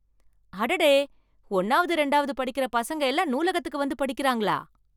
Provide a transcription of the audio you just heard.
அடடே, ஒண்ணாவது ரெண்டாவது படிக்கிற பசங்க எல்லாம் நூலகத்துக்கு வந்து படிக்கிறாங்களா!